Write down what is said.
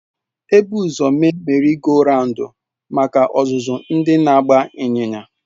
Ebu ụzọ mee Merị goo rawundu maka. ọzụzụ ndị na-agba ịnyịnya.